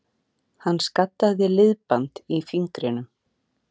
Hann skaddaði liðband í fingrinum